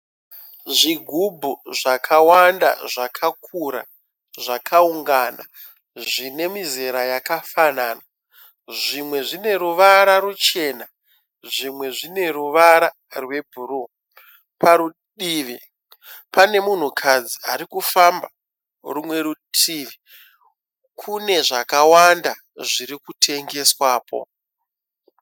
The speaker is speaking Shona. Zvigubhu zvakawanda zvakakura, zvakaungana zvine mizera yakafanana, zvimwe zvine ruvara ruchena zvimwe zvine ruvara rwebhuruu. Padivi pane munhukadzi arikufamba rimwe rutivi kune zvakawanda zviri kutengeswapo.